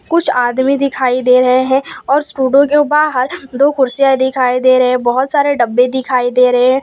कुछ आदमी दिखाई दे रहे हैं और स्टूडियो के बाहर दो कुर्सियां दिखाई दे रहे बहोत सारे डब्बे दिखाई दे रहे --